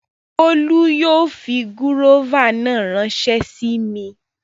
Bólú yóò fi gúróvà náà ránsẹ́ sí mi